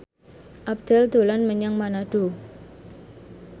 Abdel dolan menyang Manado